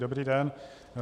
Dobrý den.